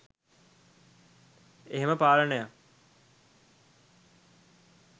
එහෙම පාලනයක්